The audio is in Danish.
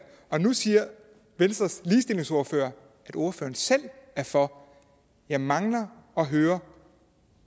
men nu siger venstres ligestillingsordfører at ordføreren selv er for jeg mangler at høre